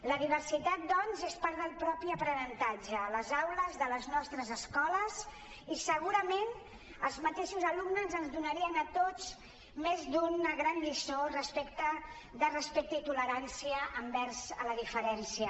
la diversitat doncs és part del mateix aprenentatge a les aules de les nostres es·coles i segurament els mateixos alumnes ens donarien a tots més d’una gran lliçó de respecte i tolerància envers la diferència